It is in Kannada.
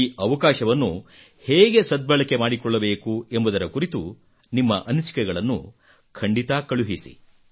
ಈ ಅವಕಾಶವನ್ನು ಹೇಗೆ ಸದ್ಭಳಕೆ ಮಾಡಿಕೊಳ್ಳಬೇಕು ಎಂಬುದರ ಕುರಿತು ನಿಮ್ಮ ಻ಅನಿಸಿಕೆಗಳನ್ನು ಖಂಡಿತ ಕಳುಹಿಸಿ